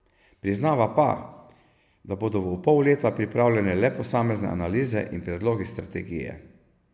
Priznava pa, da bodo v pol leta pripravljene le posamezne analize in predlogi strategije.